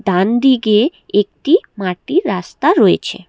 ডানদিকে একটি মাটির রাস্তা রয়েছে।